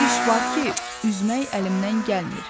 Bir iş var ki, üzmək əlimdən gəlmir.